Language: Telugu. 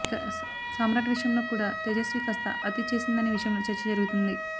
ఇక సామ్రాట్ విషయంలో కూడా తేజస్వి కాస్త అతి చేసిందనే విషయంలో చర్చ జరుగుతుంది